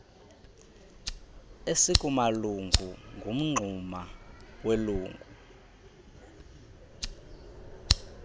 esikumalungu ngumngxuma welungu